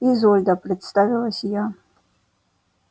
изольда представилась я